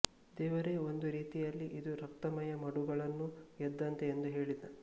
ದೇವರೇ ಒಂದು ರೀತಿಯಲ್ಲಿ ಇದು ರಕ್ತಮಯ ಮಡುಗಳನ್ನು ಗೆದ್ದಂತೆ ಎಂದು ಹೇಳಿದ